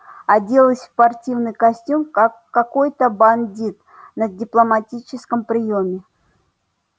оделась в спортивный костюм как какой-то бандит на дипломатическом приёме